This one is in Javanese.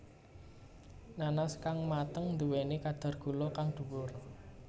Nanas kang mateng nduwéni kadar gula kang dhuwur